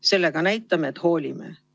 Sellega näitame, et hoolime.